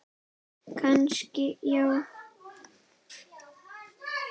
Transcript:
Kannski já.